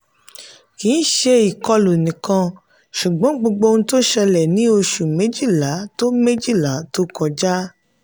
kì í ṣe ìkọlù nìkan ṣùgbọ́n gbogbo ohun tó ṣẹlẹ̀ ní oṣù méjìlá tó méjìlá tó kọjá.